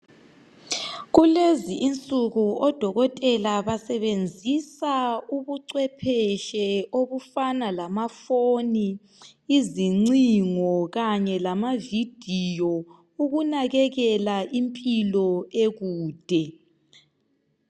Kulezinsuku odokotela basebenzisa ubuchwepheshe obufana lamafoni, izincingo kanye lamavidiyo ukunakekela impilo ekude.